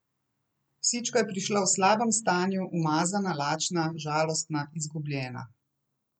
Psička je prišla v slabem stanju, umazana, lačna, žalostna, izgubljena.